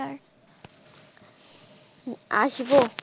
আসবো।